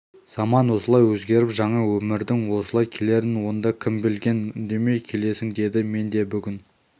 заман осылай өзгеріп жаңа өмірдің осылай келерін онда кім білген үндемей келесің деді мен де бүгін